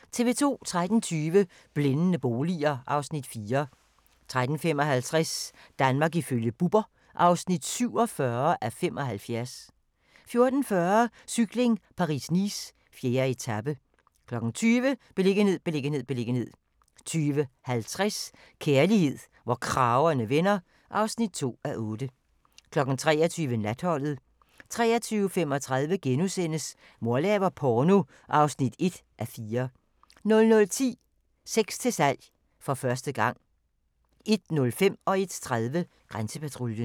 13:20: Blændende boliger (Afs. 4) 13:55: Danmark ifølge Bubber (47:75) 14:40: Cykling: Paris-Nice - 4. etape 20:00: Beliggenhed, beliggenhed, beliggenhed 20:50: Kærlighed, hvor kragerne vender (2:8) 23:00: Natholdet 23:35: Mor laver porno (1:4)* 00:10: Sex til salg - for første gang 01:05: Grænsepatruljen 01:30: Grænsepatruljen